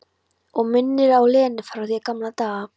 Og minnir á Lenu frá því í gamla daga.